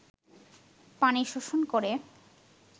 পানি শোষণ করে